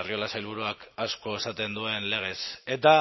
arriola sailburuak asko esaten duen legez eta